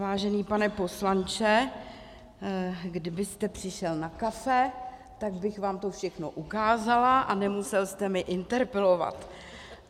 Vážený pane poslanče, kdybyste přišel na kafe, tak bych vám to všechno ukázala a nemusel jste mě interpelovat.